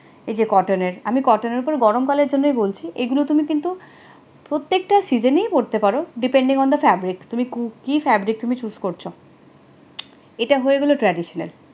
এইযে cotton নের আমি cotton এর উপর গরমকালের জন্যই বলছি এগুলো তুমি কিন্তু প্রত্যেকটা season ই পড়তে পারো depending on fabric তুমি কি Fabric তুমি choose করছো, এটা হয়ে গেলো traditional